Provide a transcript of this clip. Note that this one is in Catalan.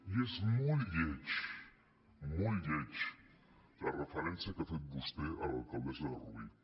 i és molt lletja molt lletja la referència que ha fet vostè a l’alcaldessa de rubí